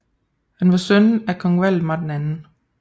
Han var søn af kong Valdemar 2